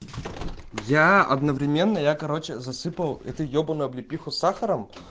я одновременно я короче засыпал эту ёбаную облепиху сахаром